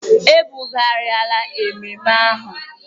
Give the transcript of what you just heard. E bụghariala ememe ememme ahụ.